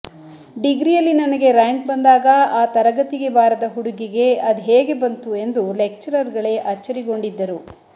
ಡಿಗ್ರಿಯಲ್ಲಿ ನನಗೆ ರ್ಯಾಂಕ್ ಬಂದಾಗ ಆ ತರಗತಿಗೆ ಬಾರದ ಹುಡುಗಿಗೆ ಅದ್ಹೇಗೆ ಬಂತು ಎಂದು ಲೆಕ್ಚರರ್ ಗಳೇ ಅಚ್ಛರಿಗೊಂಡಿದ್ದರು